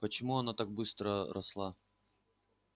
почему она так быстро росла